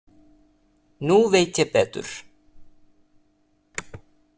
Nú veit ég betur.